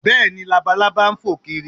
Bẹ́ẹ̀ni, Labalábá ń fò kiri